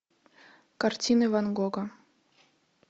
картины ван гога